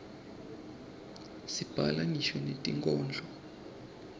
sibhala ngisho netinkhondlo